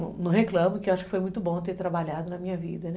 E não reclamo, que acho que foi muito bom ter trabalhado na minha vida, né?